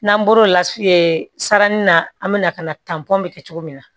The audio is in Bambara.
N'an bɔr'o la saranin na an bɛna ka na bɛ kɛ cogo min na